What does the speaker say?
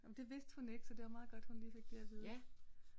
Ah men det vidste hun ikke så det var meget godt hun lige fik det at vide